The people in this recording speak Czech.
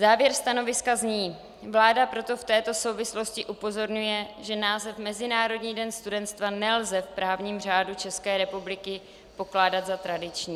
Závěr stanoviska zní: "Vláda proto v této souvislosti upozorňuje, že název Mezinárodní den studentstva nelze v právním řádu České republiky pokládat za tradiční."